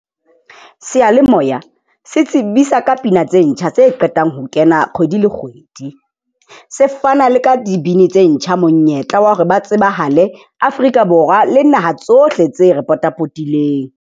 Sealemoya se tsebisa ka pina tse ntjha tse qetang ho kena kgwedi le kgwedi. Se fana le ka dibini tse ntjha monyetla wa hore ba tsebahale Afrika Borwa la naha tsohle tse re potapotileng.